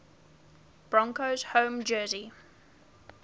broncos home jersey